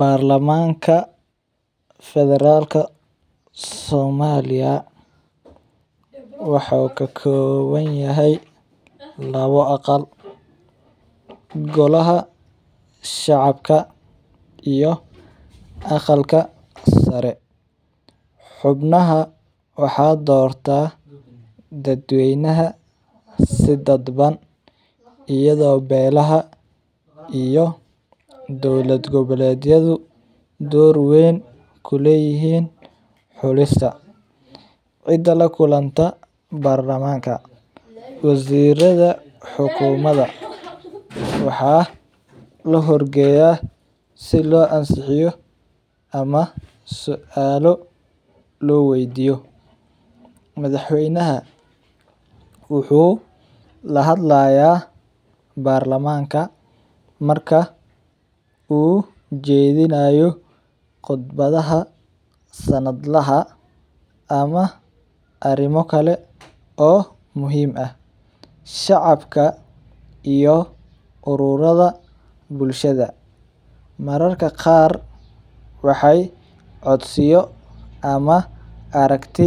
Barlamanka federalka somaliya wuxuu ka kooban yahay labo aqal golaha shacabka iyo aqalka sare, xubnaha waxaa doorta dad weynaha si dadban ayado beelaha iyo dowlad gobaledyahu door weyn kuleyihiin xulista, waziirada xakumada waxaa la hor geeya si loo ansixiyo ama suaalo loo weydiyo, madax weynaha wuxuu lahadlaaya barlamanka marka uu jeedinaayo khudbadaha sanadlaha ama arimo kale oo muhiim ah, shacabka iyo aruurada bulshada mararka qaar waxeey codsiyo ama aragti